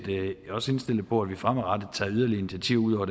også indstillet på at vi fremadrettet tager yderligere initiativer